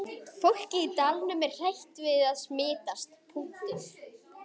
Fólkið í dalnum er hrætt við að smitast.